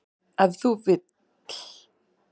Ef til vill!